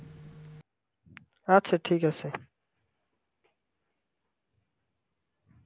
আচ্ছা ঠিক আছে